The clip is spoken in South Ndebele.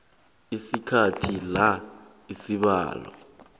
sikhathi la isibawo